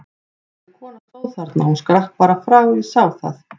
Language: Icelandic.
Þessi kona stóð þarna, hún skrapp bara frá, ég sá það!